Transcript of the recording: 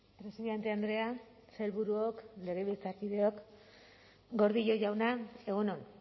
presidente andrea sailburuok legebiltzarkideok gordillo jauna egun on